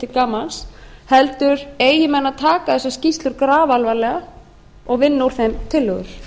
til gamans heldur eigi menn að taka þessar skýrslur grafalvarlega og vinna úr þeim tillögur